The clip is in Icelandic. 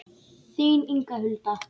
Þín Inga Hulda.